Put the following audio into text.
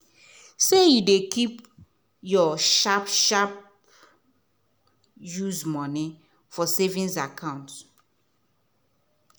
say you dey keep your sharp-sharp use money for savings account